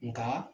Nka